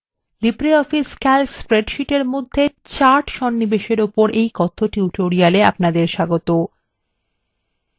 libreoffice calc স্প্রেডশীটের মধ্যে charts সন্নিবেশএর ওপর এই কথ্য tutorial এ আপনাদের স্বাগতো